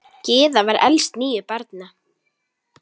Gyða var elst níu barna.